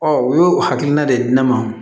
u y'o hakilina de di ne ma